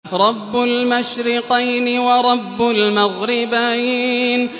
رَبُّ الْمَشْرِقَيْنِ وَرَبُّ الْمَغْرِبَيْنِ